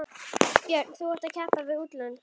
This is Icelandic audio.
Björn: Þú ert að keppa við útlönd?